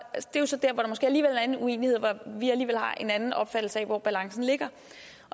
måske alligevel er en uenighed og hvor vi alligevel har en anden opfattelse af hvor balancen ligger